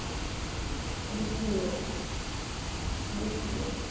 BCABCA